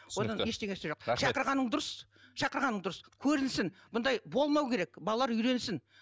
одан ештеңесі жоқ шақырғаның дұрыс шақырғаның дұрыс көрінсін бұндай болмау керек балалар үйренсін